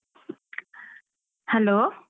Hello.